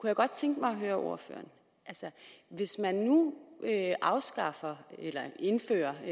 jeg godt tænke mig at høre ordføreren hvis man nu afskaffer eller indfører